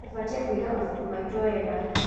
Tũbatiĩ kũiga mabuku maitũ wega.